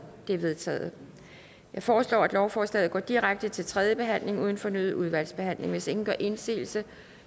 det er vedtaget jeg foreslår at lovforslaget går direkte til tredje behandling uden fornyet udvalgsbehandling hvis ingen gør indsigelse